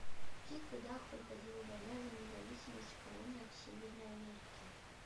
в каких годах проходила война за независимость в колониях северной америки